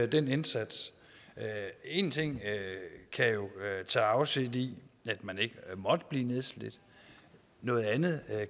den indsats en ting kan tage afsæt i at man ikke må blive nedslidt noget andet